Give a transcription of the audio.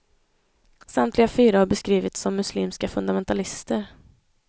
Samtliga fyra har beskrivits som muslimska fundamentalister.